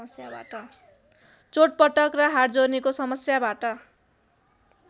चोटपटक र हाडजोर्नीको समस्याबाट